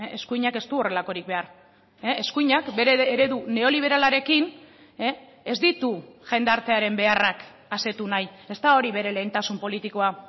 eskuinak ez du horrelakorik behar eskuinak bere eredu neoliberalarekin ez ditu jendartearen beharrak asetu nahi ez da hori bere lehentasun politikoa